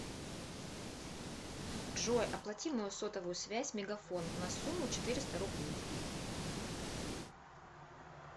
джой оплати мою сотовую связь мегафон на сумму четыреста рублей